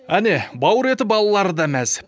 әне бауыр еті балалары да мәз